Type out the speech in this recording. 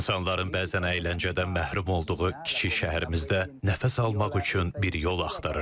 İnsanların bəzən əyləncədən məhrum olduğu kiçik şəhərimizdə nəfəs almaq üçün bir yol axtarırdıq.